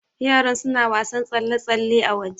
Yaran suna wasan tsalle-tsalle a waje